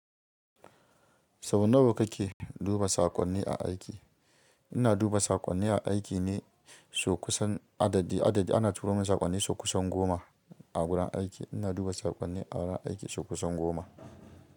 Sau nawa kake duba saƙonni a aiki. Ina duba saƙonni a aiki ne so kusan adadi. Adadi ana turo min saƙonni sokusan goma a gurin aiki. Ina duba saƙonni a gudan aiki sokusan goma.